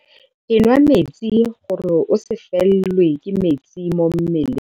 Enwa metsi gore o se felelwe ke metsi mo mmeleng.